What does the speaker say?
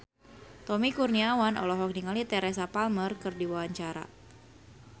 Tommy Kurniawan olohok ningali Teresa Palmer keur diwawancara